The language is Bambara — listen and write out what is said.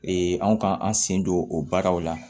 anw kan an sen don o baaraw la